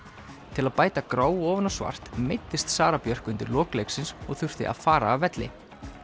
til að bæta gráu ofan á svart meiddist Sara Björk undir lok leiksins og þurfti að fara af velli